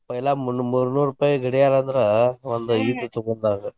पैला ಮುನ್ನು ಮೂರ್ನೂರ್ ರೂಪಾಯಿ ಗಡಿಯಾರ ಅಂದ್ರ ಒಂದ ಇದ ತುಗೊಂಡಂಗ.